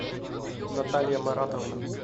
наталья маратовна